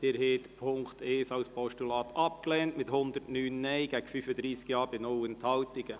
Sie haben die Ziffer 1 als Postulat abgelehnt mit 35 Ja- bei 109 Nein-Stimmen und 0 Enthaltungen.